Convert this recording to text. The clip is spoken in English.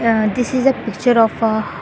uh this is a picture of a --